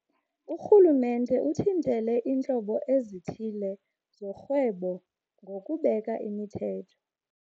urhulumente uthintele iintlobo ezithile zorhwebo ngokubeka imithetho.